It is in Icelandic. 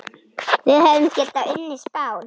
Við hefðum getað unnið Spán.